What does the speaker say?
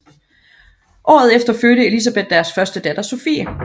Året efter fødte Elisabeth deres første datter Sophie